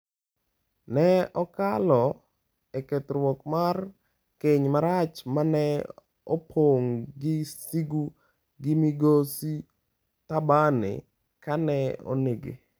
Ne okalo e kethruok mar keny marach ma ne opong’ gi sigu gi Migosi Thabane ka ne onege.